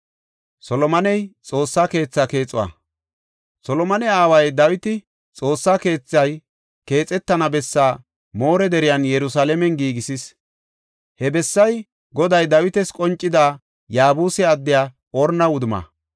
Solomone aaway Dawiti xoossaa keethay keexetana bessaa More deriyan Yerusalaamen giigisis. He bessay Goday Dawitas qoncida Yaabuse addiya Orna wudumma.